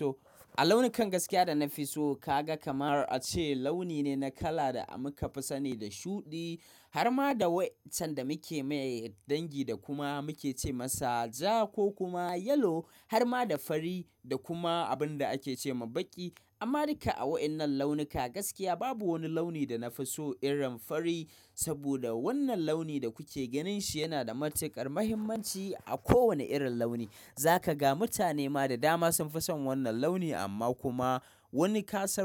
A launukan gaskiya da na fi so kaga kamar a ce launi ne na kala da muka fi sani da shuɗi har ma da waɗanda muke mai dangi da kuma muke ce masa ja ko kuma yellow har ma da fari da kuma abin da ake ce ma baƙi. Amma duka a waɗannan launuka gaskiya babu wani launi da na fi so irin fari. Saboda wannan launi da kuke ganin shi yana da matuƙar mahimmanci a kowane irin launi. Za ka ga mutane ma da dama sun fi son wannan launi amma kuma wani kasan.